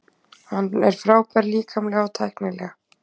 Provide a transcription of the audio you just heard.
Hann er frábær líkamlega og tæknilega.